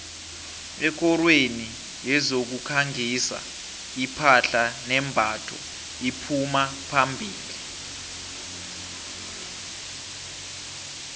ekorweni yezokukhangisa iphahla nembatho iphuma phambili